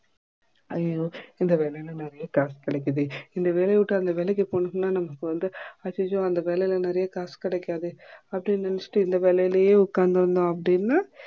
ஐயையோ இந்த வேலைல நெறைய காசு கிடைக்குதே இந்த வேலைய விட்டு அந்த வேலைக்கு போட்டோம்னா நமக்கு வந்து ஐயையோ அந்த வேளைல நெறைய காசு கிடைக்காதே அப்டி நினைச்சிட்டு இந்த வேலையே உக்காந்தோம் அப்படினா